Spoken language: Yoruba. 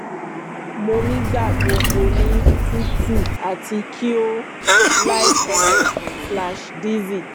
mo nigbagbọgbọ ni tutu ati ki o o light headed slash dizzy